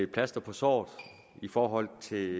plaster på såret i forhold til